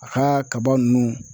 A ka kaba ninnu